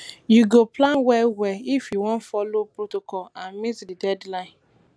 you go plan well well if you wan folo protocol and meet di deadline